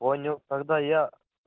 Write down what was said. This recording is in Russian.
понял тогда я